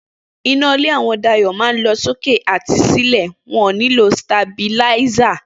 Iná ilé àwọn Dayò máa ń lọ sókè àti sílè, wón nílò sitabiláísà